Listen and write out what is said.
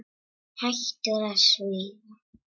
Hættur að svífa.